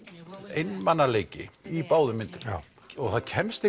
einmanaleiki í báðum myndunum já og það kemst